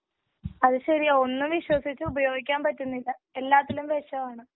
അതുശരിയാ ഒന്നും വിശ്വസിച്ചു ഉപയോഗിക്കാൻ പറ്റുന്നില്ല. എല്ലാത്തിലും വിഷമാണ്.